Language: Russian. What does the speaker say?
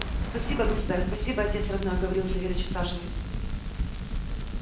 спасибо государь спасибо отец родной говорил савельич усаживаясь